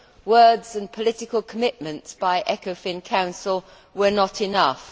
Words and political commitments by the Ecofin Council were not enough.